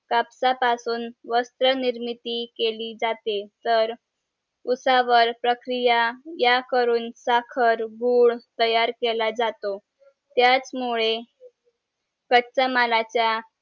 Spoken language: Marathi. कापसा पासून वस्त्र निर्मिती केली जाते तर ऊसा वर प्रक्रियाया करून साखर गूळ तयार केला जातो त्याच मुळे कच्चा मालाचा